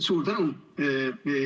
Suur tänu!